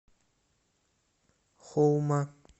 хоума